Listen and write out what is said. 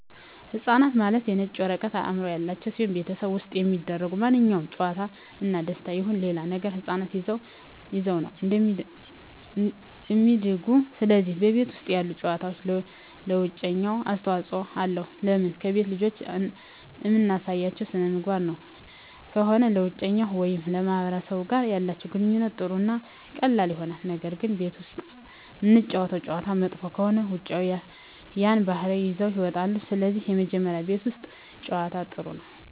ህፃናት ማለት የነጭ ወረቀት አዕምሮ ያላቸው ሲሆን በቤተሠብ ውስጥ የሚደሰጉ ማንኛውም ጨዋታ እና ደስታ ይሁን ሌላ ነገር ህፃናት ይዘውት ነው እሚድጉ ስለዚህ በቤት ውስጥ ያሉ ጨዋታዎች ለውጨኛው አስተዋፅኦ አለው ለምን ከቤት ልጆችን እምናሳያቸው ሥነምግባር ጥሩ ከሆነ ለውጨኛው ወይም ከማህበረሰቡ ጋር ያላቸው ግንኙነት ጥሩ እና ቀላል ይሆናል ነገር ግን ቤት ውስጥ እምናጫውታቸው ጨዋታ መጥፎ ከሆነ ከውጭ ያን ባህሪ ይዘውት ይወጣሉ ስለዚህ መጀመሪ ቤት ውስት ጨዋታ ጥሩ ነው